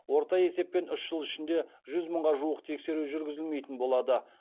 орта есеппен үш жыл ішінде жүз мыңға жуық тексеру жүргізілмейтін болады